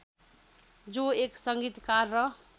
जो एक सङ्गीतकार र